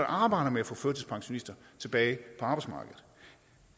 arbejder med at få førtidspensionister tilbage på arbejdsmarkedet